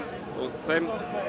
þeim